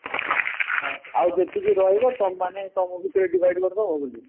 ଆଉ ଯେତିକି ରହିବା ତମେ ମାନେ ତମ ଭିତରେ divide କରିଦବ ବୋଲିକି